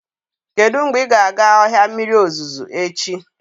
Kedu mgbe ị ga-aga ọhịa mmiri ozuzo echi?